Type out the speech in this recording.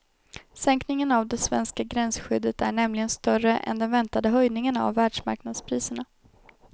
Sänkningen av det svenska gränsskyddet är nämligen större än den väntade höjningen av världsmarknadspriserna.